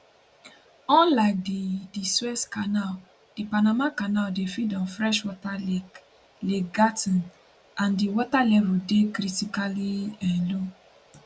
unlike di di suez canal di panama canal dey feed on freshwater lake lake gatn and di water level dey critically um low